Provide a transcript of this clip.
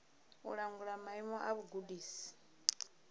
u langula maimo a vhugudisi